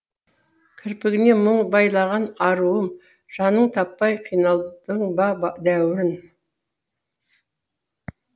кірпігіне мұң байланған аруым жанның таппай қиналдың ба дәруін